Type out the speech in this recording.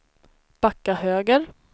backa höger